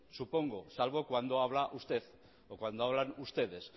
supongo salvo cuando habla usted o cuando hablan ustedes